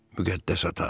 Müqəddəs ata.